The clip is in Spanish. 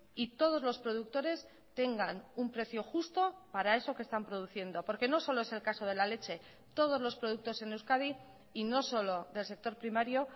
y todos los productores tengan un precio justo para eso que están produciendo porque no solo es el caso de la leche todos los productos en euskadi y no solo del sector primario